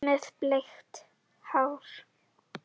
Með bleikt hár.